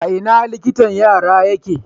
A ina liktan yara yake?